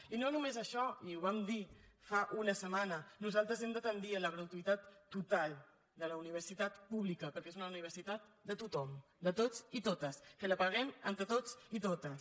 i no només això i ho vam dir fa una setmana nosaltres hem de tendir a la gratuïtat total de la universitat pública perquè és una universitat de tothom de tots i totes que la paguem entre tots i totes